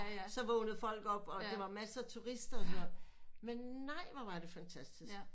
Så vågnede folk op og det var masser turister og sådan noget men nej hvor var det fantastisk